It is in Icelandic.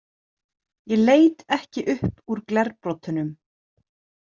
Ég leit ekki upp úr glerbrotunum.